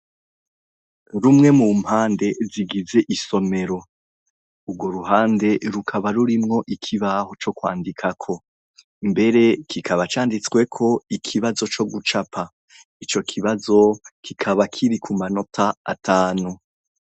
rumwe mu mpande zigize isomero, urwo ruhande rukaba rurimwo ikibaho co kwandikako mbere kikaba canditsweko ikibazo co gucapa ico kibazo kikaba kiri ku manota atanu.